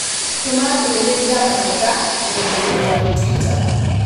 Tũma ndũmĩrĩri ya mateta rũrenda-inī rũa tũita